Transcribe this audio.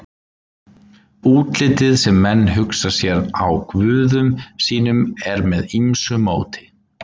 Útlitið sem menn hugsa sér á guðum sínum er með ýmsu móti.